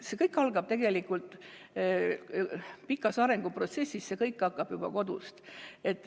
See kõik on tegelikult pikk arenguprotsess, see kõik algab juba kodust.